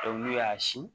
Dɔnkili y'a si